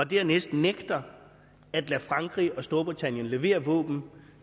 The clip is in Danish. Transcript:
det andet nægter at lade frankrig og storbritannien levere våben